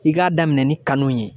I k'a daminɛ ni kanu ye.